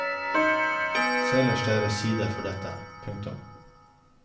Se ellers deres sider for dette. punktum